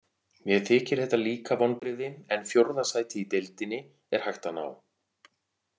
Mér þykir þetta líka vonbrigði, en fjórða sæti í deildinni er hægt að ná.